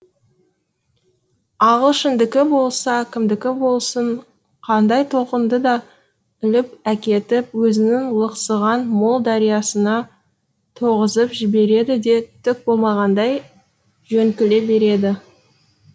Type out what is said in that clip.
ағылшындікі болса кімдікі болсын қандай толқынды да іліп әкетіп өзінің лықсыған мол дариясына тоғысып жібереді де түк болмағандай жөңкіле береді